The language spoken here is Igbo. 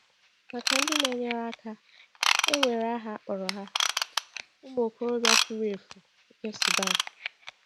Maka ndị na-enyere aka, e nwere aha a kpọrọ ha — “ụmụ okorobịa furu efu” nke Sudan.